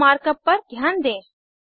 यहाँ markup पर ध्यान दें